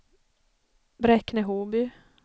Bräkne-Hoby